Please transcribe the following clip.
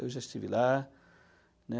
Eu já estive lá, né?